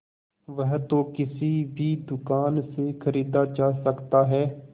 वह तो किसी भी दुकान से खरीदा जा सकता है